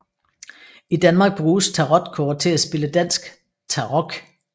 I Danmark bruges tarotkort til at spille dansk tarok